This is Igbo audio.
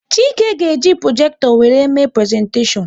Chike ga-eji projekto wéré mee prezentashion